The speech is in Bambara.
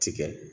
Tigɛ